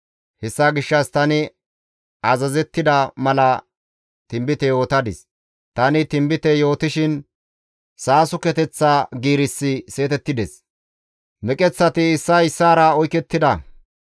Hessa gishshas tani azazettida mala tinbite yootadis; tani tinbite yootishin saasuketeththa giirissi seetettides; meqeththati issay issaara oykettida.